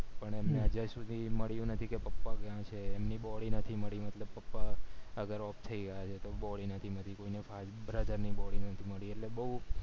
પણ એમને અત્યારે સુ છે એ મળ્યું નથી કે પપ્પા ક્યાં છે એમની body નથી મળી મતલબ પપ્પા father off થય ગયા છે તો body નથી મળી કોઈને brother ની body નથી મળી એટલે બૌ